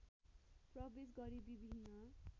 प्रवेश गरी विभिन्न